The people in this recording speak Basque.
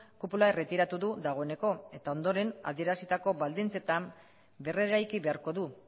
kupula erretiratu du dagoeneko eta ondoren adierazitako baldintzetan berreraiki beharko du